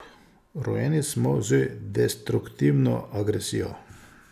Rojeni smo z destruktivno agresijo.